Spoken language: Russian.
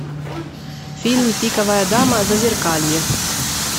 фильм пиковая дама зазеркалье